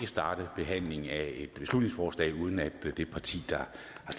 starte behandlingen af et beslutningsforslag uden at det parti der